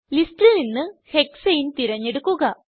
ലിസ്റ്റിൽ നിന്ന് ഹെക്സാനെ തിരഞ്ഞെടുക്കുക